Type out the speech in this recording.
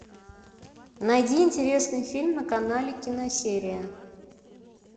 найди интересный фильм на канале киносерия